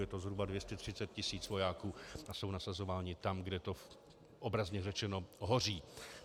Je to zhruba 230 tisíc vojáků a jsou nasazováni tam, kde to obrazně řečeno hoří.